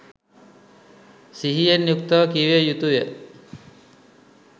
සිහියෙන් යුක්තව කියවිය යුතු ය.